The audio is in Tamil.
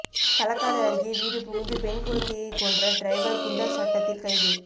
களக்காடு அருகே வீடுபுகுந்து பெண் குழந்தையை கொன்ற டிரைவர் குண்டர் சட்டத்தில் கைது